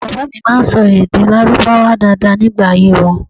Baba mi ma n sọ èdè lárúbáwá daada nigba ayé wọn